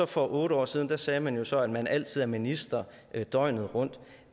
for otte år siden sagde man jo så at man altid er minister døgnet rundt